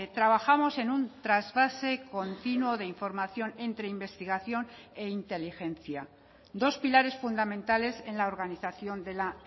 trabajamos en un trasvase continuo de información entre investigación e inteligencia dos pilares fundamentales en la organización de la